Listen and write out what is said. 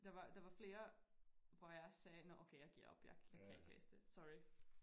Der var der var flere hvor jeg sagde nåh okay jeg giver op jeg jeg kan ikke læse det sorry